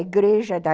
igreja